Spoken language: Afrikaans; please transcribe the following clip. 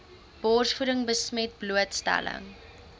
borsvoeding besmet blootstelling